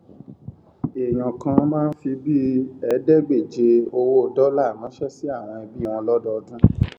èèyàn kàn máa ń fi bíi ẹẹdégbèje owó dólà ránṣẹ sí àwọn ẹbí wọn lọdọọdún